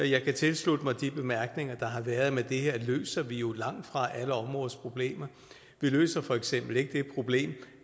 jeg kan tilslutte mig de bemærkninger der har været men det her løser vi jo langtfra alle områdes problemer vi løser for eksempel ikke det problem